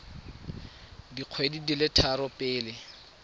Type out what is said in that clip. dikgwedi di le tharo pele